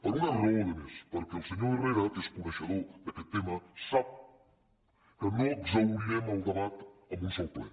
per una raó a més perquè el senyor herrera que és coneixedor d’aquest tema sap que no exhaurirem el debat amb un sol ple